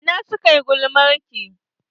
A ina suka yi gulmarki?